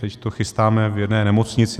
Takže to chystáme v jedné nemocnici.